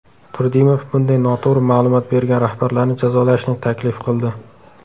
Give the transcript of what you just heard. Turdimov bunday noto‘g‘ri ma’lumot bergan rahbarlarni jazolashni taklif qildi.